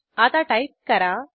आता टाईप करा